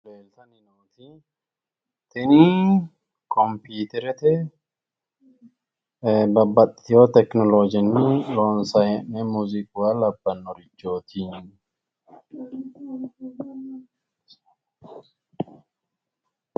Leeltanni nooti tini kompiiterete babbaxiwo tekinoloojenni loonsayi hee’noni muuziiquwa labbannorichooti.